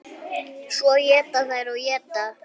Svo éta þær og éta.